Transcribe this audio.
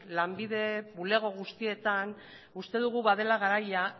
lanbide bulego guztietan uste dugu badela garaia